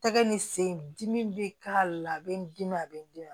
Tɛgɛ ni sen dimi bɛ k'a la a bɛ n dimi a bɛ d'i ma